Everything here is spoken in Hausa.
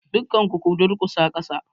Dukkan ku ku durkusa kasa!